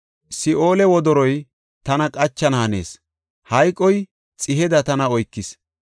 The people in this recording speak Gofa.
Si7oole wodoroy tana qachana hanees; hayqoy xiheda tana oykis.